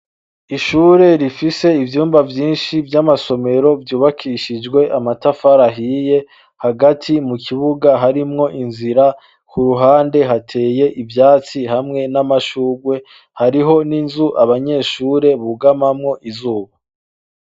Ishure rifise ivyumba vyinshi vy'amasomero vyubakishijwe amatafar'ahiye, hagati mu kibuga harimwo inzira, ku ruhande hateye ivyatsi hamwe n'amashurwe hariho n'inzu abanyeshure bugamamwo izuba